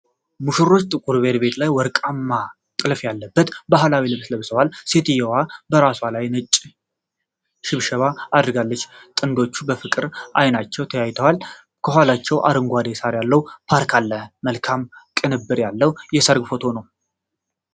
ሙሽሮች ጥቁር ቬልቬት ላይ ወርቃማ ጥልፍ ያለበት ባህላዊ ልብስ ለብሰዋል። ሴትየዋ በራሷ ላይ ነጭ ሽብሸባ አድርጋለች። ጥንዶቹ በፍቅር ዓይናቸውን ተያይዘዋል። ከኋላቸው አረንጓዴ ሣር ያለው ፓርክ አለ። መልካም ቅንብር ያለው የሠርግ ፎቶ ነው።